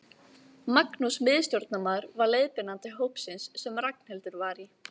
Magnús miðstjórnarmaður var leiðbeinandi hópsins sem Ragnhildur var í.